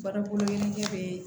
Bari yirinike